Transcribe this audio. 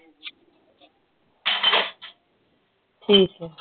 ਠੀਕ ਹੈ